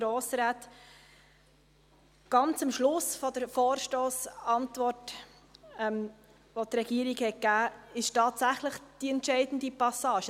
Ganz am Schluss der Vorstossantwort der Regierung befindet sich tatsächlich die entscheidende Passage.